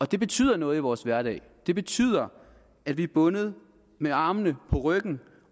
det betyder noget i vores hverdag det betyder at vi er bundet med armene på ryggen